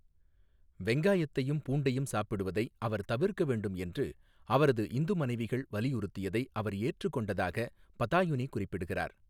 வெங்காயத்தையும் பூண்டையும் சாப்பிடுவதை அவர் தவிர்க்க வேண்டும் என்று அவரது இந்து மனைவிகள் வலியுறுத்தியதை அவர் ஏற்றுக்கொண்டதாகப் பதாயுனி குறிப்பிடுகிறார்.